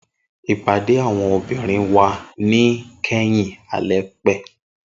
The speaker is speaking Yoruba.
Ipade awọn obinrin wa ni kẹhin ale pẹ.